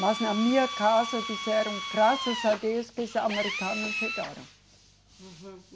Mas na minha casa disseram, graças a Deus que os americanos chegaram. Uhum